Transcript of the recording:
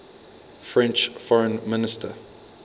french foreign minister